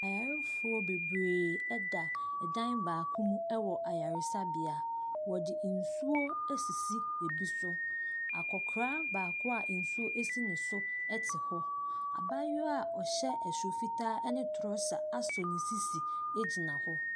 Ayarefoɔ bebree da dan baako mu wɔ ayaresabea. Wɔde nsuo asisi ebi so. Akɔkora baako a nsuo si ne so te hɔ. Abayewa a ɔhyɛ soro fitaa ne torɔsa asɔ ne sisi gyina hɔ.